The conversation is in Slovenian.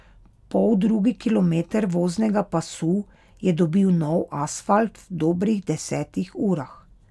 Poldrugi kilometer voznega pasu je dobil nov asfalt v dobrih desetih urah.